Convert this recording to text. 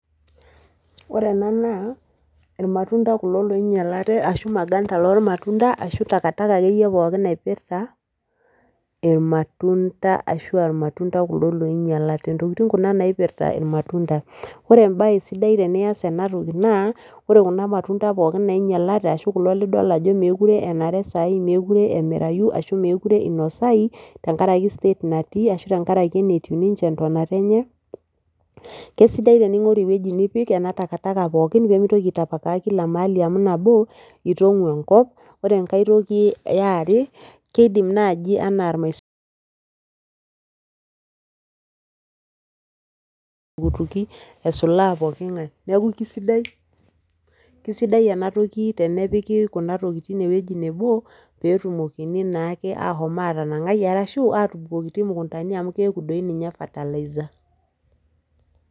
Ore ena naa, irmatunda kulo loinyalate ashu maganda lormatunda, ashu takataka akeyie pookin naipirta, irmatunda ashua irmatunda kuldo loinyalate. Intokiting kuna naipirta irmatunda. Ore ebae sidai tenias enatoki naa, ore kuna matunda pookin nainyalate, ashu kulo lidol ajo mekure enare sai mekure emirayu, ashu mekure inosayu, tenkaraki state natii ashu tenkaraki enetiu ninche entonata enye, kesidai tening'oru ewueji nipik ena takataka pookin pemitoki ai tapakaa kila mahali amu, itong'u enkop, ore enkae toki eare, kidim naji enaa butuki esulaa pooking'ae. Neku kesidai, kesidai enatoki tenepiki kuna tokiting ewueji nebo, petumokini naake ahomo atanang'ai, arashu atubukokiti mukundani amu keeku doi ninye fertiliser.